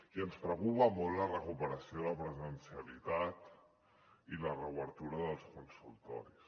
i ens preocupa molt la recuperació de la presencialitat i la reobertura dels consultoris